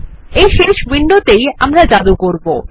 এই শেষ উইন্ডোতেই আমরা জাদু করব